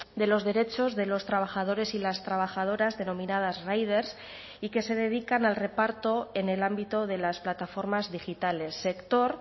de los derechos de los trabajadores y las trabajadoras denominadas riders y que se dedican al reparto en el ámbito de las plataformas digitales sector